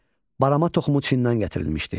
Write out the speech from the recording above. Barama toxumu Çindən gətirilmişdi.